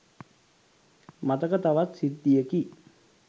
මතක තවත් සිද්ධියකි.